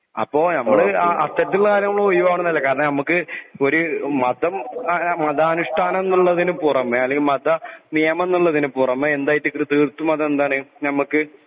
അപ്പൊ ഞമ്മള് കാരണം ഞമ്മക് ഒരു മതം മതാനുഷ്ടാനം ഉള്ളതിന് പുറമെ മത നിയമമം എന്നതിന് പുറമെ തീർത്തും അത് അതെന്താണ് നമ്മക്ക്